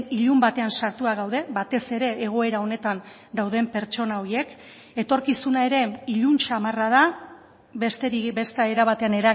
ilun batean sartua gaude batez ere egoera honetan dauden pertsona horiek etorkizuna ere ilun samarra da besterik beste era batean